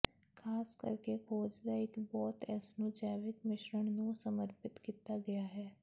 ਖ਼ਾਸ ਕਰਕੇ ਖੋਜ ਦਾ ਇੱਕ ਬਹੁਤ ਇਸ ਨੂੰ ਜੈਵਿਕ ਮਿਸ਼ਰਣ ਨੂੰ ਸਮਰਪਿਤ ਕੀਤਾ ਗਿਆ ਹੈ